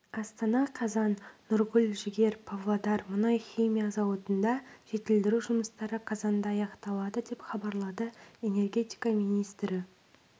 астана қазан нұргүл жігер павлодар мұнай-химия зауытында жетілдіру жұмыстары қазанда аяқталады деп хабарлады энергетика министрі